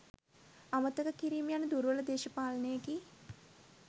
අමතක කිරීම යන දුර්වල දේශපාලනයකි.